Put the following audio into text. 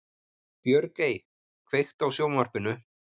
Björgey, kveiktu á sjónvarpinu.